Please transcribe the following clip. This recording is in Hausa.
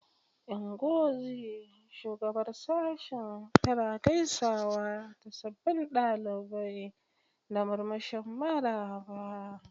Ngozi, shugabar Sashen, tana gaisawa da sabbin ɗalibai da murmushin maraba.